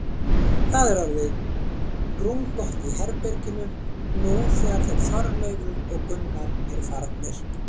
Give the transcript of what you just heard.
Það er orðið rúmgott í herberginu, nú þegar þeir Þorleifur og Gunnar eru farnir.